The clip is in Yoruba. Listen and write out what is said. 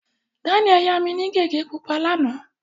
Daniel yá mi ní gègé pupa lánàá.